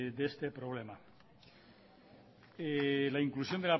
de este problema la inclusión